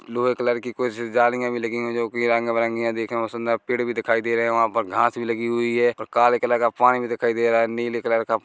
blue colour की कुछ जालियां भी लगी हुई है जोकि रंग बिरंगी देखे में बोहोत सुंदर पेड़ भी दिखाई दे रहे है और वहाँ पर घास भी लगी हुई है और काले कलर का पानी भी दिखाई दे रहा है नीले कलर का--